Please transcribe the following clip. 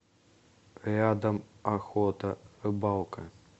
рядом охота рыбалка